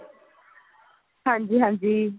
ਹਾਂਜੀ ਹਾਂਜੀ